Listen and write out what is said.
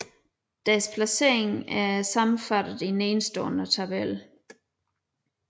Deres placeringer er sammenfattet i nedenstående tabel